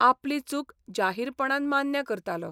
आपली चूक जाहीरपणान मान्य करतालो.